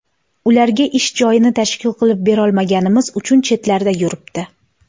Ularga ish joyini tashkil qilib berolmaganimiz uchun chetlarda yuribdi.